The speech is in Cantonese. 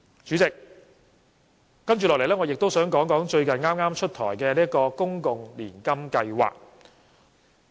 主席，接下來，我也想談談剛出台的公共年金計劃。